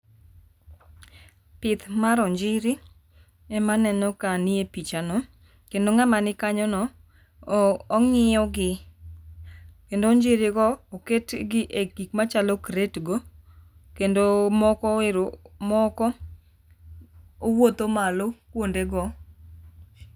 pith mar onjiri ema aneno kanie pichano kendo ngama ni kanyono ong'iyo gi kendo onjiri go oket gi e gima chalo crate go kendo moko owuotho malo kuonde go.